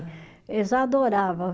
Eles adorava